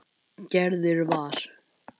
Gerður var.